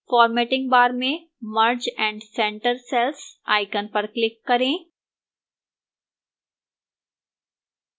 formatting bar में merge and centre cells icon पर click करें